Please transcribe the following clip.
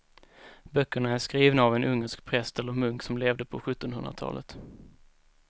Böckerna är skrivna av en ungersk präst eller munk som levde på sjuttonhundratalet.